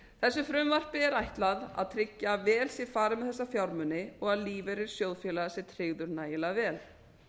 þessu frumvarpi er ætlað að tryggja að vel sé farið með þessa fjármuni og að lífeyrir sjóðfélaga sé tryggður nægilega vel